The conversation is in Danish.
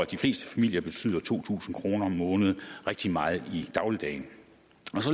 de fleste familier betyder to tusind kroner om måneden rigtig meget i dagligdagen